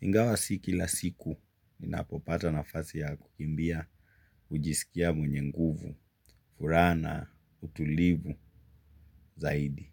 Ingawa si kila siku ninapopata nafasi ya kukimbia hujisikia mwenye nguvu, furaha na, utulivu, zaidi.